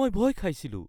মই ভয় খাইছিলোঁ।